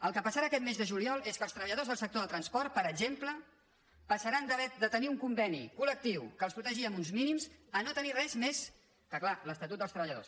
el que passarà aquest mes de juliol és que els treballadors del sector del transport per exemple passaran de tenir un conveni col·lectiu que els protegia amb uns mínims a no tenir res més que clar l’esta·tut dels treballadors